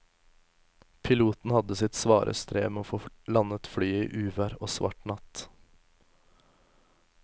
Piloten hadde sitt svare strev med å få landet flyet i uvær og svart natt.